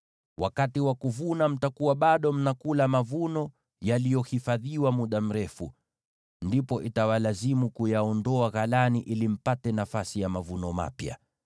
Wakati wa kuvuna mtakuwa bado mnakula mavuno ya mwaka uliopita, na itawalazimu kuyaondoa ghalani ili mpate nafasi ya mavuno mapya.